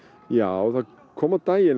já það kom á daginn